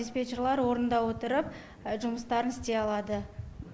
диспетчерлар орнында отырып жұмыстарын істей алады